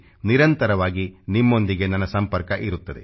indownloadapp ನಿರಂತರವಾಗಿ ನಿಮ್ಮೊಂದಿಗೆ ನನ್ನ ಸಂಪರ್ಕ ಇರುತ್ತದೆ